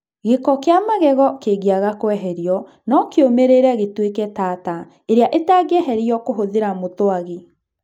Gĩko kĩa magego kĩngĩaga kweherio, no kĩũmĩrĩre gĩtuĩke tartar ĩrĩa ĩtangĩtherio kũhũthĩra mũthwagi.